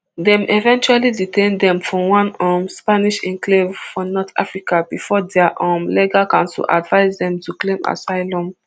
dem eventually detain dem for one um spanish enclave for north africa bifor dia um legal counsel advise dem to claim asylum